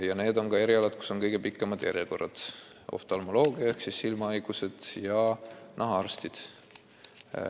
Ja need on ka erialad, kus on kõige pikemad järjekorrad: oftalmoloogia ehk siis silmahaigused ja nahahaigused.